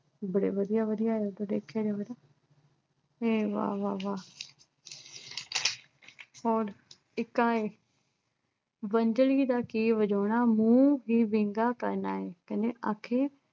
ਬੜੇ ਵਧੀਆ-ਵਧੀਆ ਨੇ ਪਤਾ। ਅਮ ਵਾਹ, ਵਾਹ, ਵਾਹ ਹੋਰ ਇੱਕ ਆਹ ਏ ਵੰਝਲੀ ਦਾ ਕੀ ਵਜਾਉਣਾ, ਮੂੰਹ ਹੀ ਵਿੰਗਾ ਕਰਨਾ ਏ ਕਹਿੰਦੇ ਅਖੇ